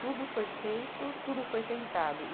Tudo foi feito, tudo foi tentado. e